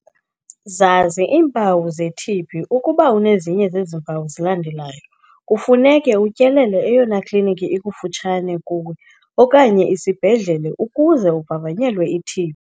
Zazi iimpawu ze-TB. Ukuba unezinye zezi mpawu zilandelayo, kufuneka utyelele eyona klinikhi ikufutshane kuwe okanye isibhedlele ukuze uvavanyelwe i-TB.